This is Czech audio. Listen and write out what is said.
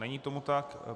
Není tomu tak.